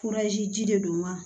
ji de don wa